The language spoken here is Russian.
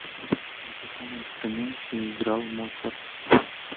на каком инструменте играл моцарт